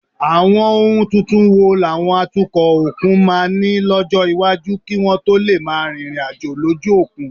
Àwọn ohun tuntun wo làwọn atukọ̀ òkun máa nílò lọ́jọ́ iwájú kí wọ́n tó lè máa rìnrìn àjò lójú òkun?